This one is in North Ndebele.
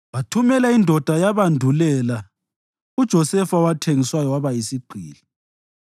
wathumela indoda yabandulela uJosefa owathengiswa waba yisigqili.